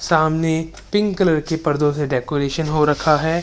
सामने pink colour के पर्दो से डेकोरेशन हो रखा है।